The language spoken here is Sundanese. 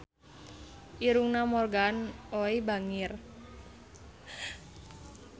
Irungna Morgan Oey bangir